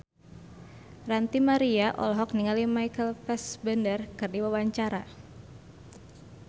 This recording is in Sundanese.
Ranty Maria olohok ningali Michael Fassbender keur diwawancara